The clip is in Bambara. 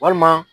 Walima